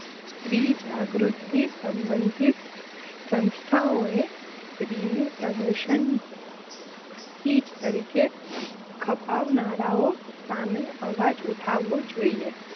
સ્ત્રીજાગૃતિથી સંબંધિત સંસ્થાઓએ સ્ત્રીનું પ્રદર્શન ચીજ તરીકે ખપાવનારાઓ સામે અવાજ ઉઠાવવો જોઈએ.